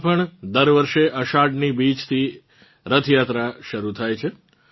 ગુજરાતનાં અમદાવાદમાં પણ દર વર્ષે અષાઢની બીજથી રથયાત્રા શરૂ થાય છે